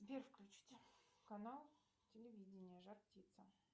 сбер включите канал телевидения жар птица